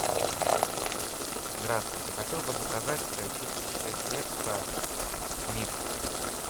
здравствуйте хотел бы заказать чистящее средство миг